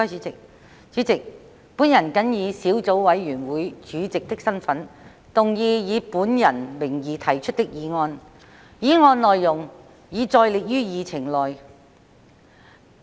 主席，本人謹以小組委員會主席的身份，動議以本人名義提出的議案，議案內容已載列於議程內。